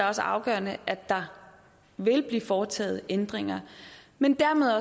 også afgørende at der vil blive foretaget ændringer men dermed